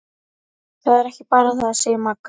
Það er ekki bara það, segir Magga.